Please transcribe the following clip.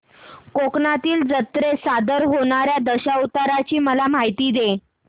कोकणातील जत्रेत सादर होणार्या दशावताराची मला माहिती दे